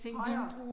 Højere